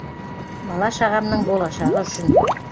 бала шағамның болашағы үшін